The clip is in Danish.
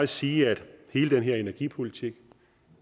sige at hele den her energipolitik